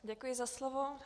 Děkuji za slovo.